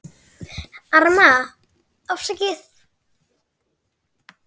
Arma: Afsakið